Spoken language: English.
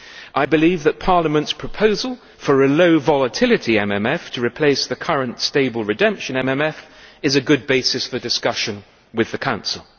I believe that Parliament's proposal for a low volatility MMF to replace the current stable redemption MMF is a good basis for discussion with the Council.